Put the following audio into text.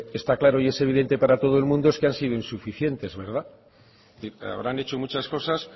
está claro y es evidente para todo el mundo es que han sido insuficientes habrán hecho muchas cosas